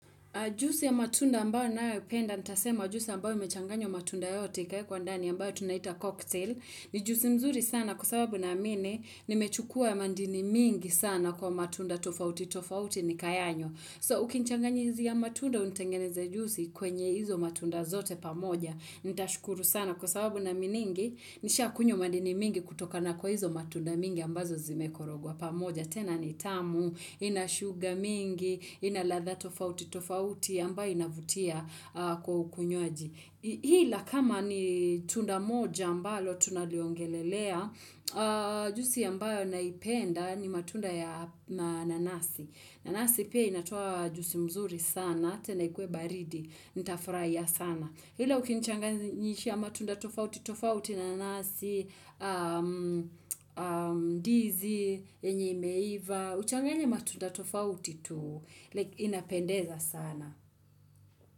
Jusi ya matunda ambayo na upenda, nitasema jusi ambayo mechanganyo matunda yote, kaya kwa ndani ambayo tunaita cocktail, ni jusi mzuri sana kwa sababu na mine, nimechukua ya mandini mingi sana kwa matunda tofauti, tofauti ni kayanyo. So ukinchanganye hizi ya matunda untengeneze jusi kwenye hizo matunda zote pamoja. Nitashukuru sana kwa sababu na miningi nisha kunyo madini mingi kutoka na kwa hizo matunda mingi ambazo zimekorogwa pamoja. Tena ni tamu, inashuga mingi, inaladha tofauti tofauti ambayo inavutia kwa ukunywaji. Hila kama ni tunda moja ambayo tunaliongelelea, jusi ambayo naipenda ni matunda ya nanasi. Nanasi pia inatuwa jusi mzuri sana, tenaikwe baridi, nitafraia sana. Hila ukinichangani nishia matunda tofauti, tofauti nanasi, dizi, yenye imeiva, uchangani matunda tofauti tu inapendeza sana.